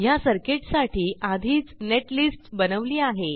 ह्या सर्किटसाठी आधीच नेटलिस्ट बनवली आहे